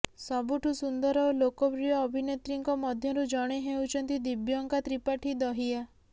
ସବୁଠୁ ସୁନ୍ଦର ଓ ଲୋକପ୍ରିୟ ଅଭିନେତ୍ରୀଙ୍କ ମଧ୍ୟରୁ ଜଣେ ହେଉଛନ୍ତି ଦିବ୍ୟଙ୍କା ତ୍ରିପାଠୀ ଦହିୟା